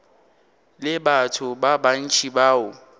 le batho ba bantši bao